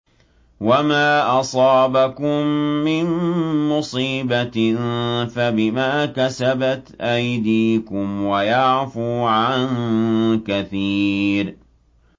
وَمَا أَصَابَكُم مِّن مُّصِيبَةٍ فَبِمَا كَسَبَتْ أَيْدِيكُمْ وَيَعْفُو عَن كَثِيرٍ